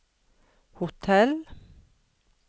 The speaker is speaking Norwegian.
hotell